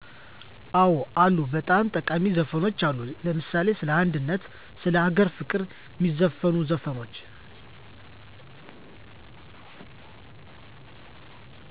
አወ አሉ በጣም ጠቃሜ ዘፈኖች አሉ ለምሳሌ ሰለ አንድነት ስለ አገር ፍቅር ሜዘፍኑ ዘፈኖች